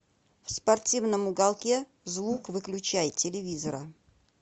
в спортивном уголке звук выключай телевизора